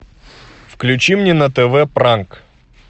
включи мне на тв пранк